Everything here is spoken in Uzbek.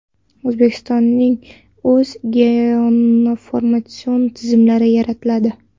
O‘zbekistonning o‘z geoinformatsion tizimlari yaratiladi.